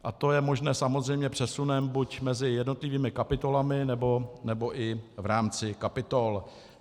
A to je možné samozřejmě přesunem buď mezi jednotlivými kapitolami, nebo i v rámci kapitol.